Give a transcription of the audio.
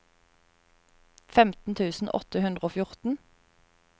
femten tusen åtte hundre og fjorten